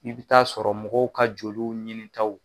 I bɛ taa sɔrɔ mɔgɔw ka joliw ɲinitaw